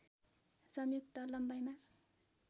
संयुक्त लम्बाइमा